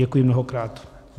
Děkuji mnohokrát.